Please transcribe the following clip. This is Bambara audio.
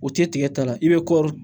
O tɛ tigɛ ta la i bɛ kɔri